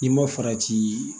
N'i ma farati